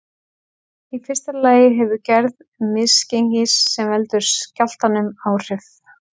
Í fyrsta lagi hefur gerð misgengisins sem veldur skjálftanum áhrif.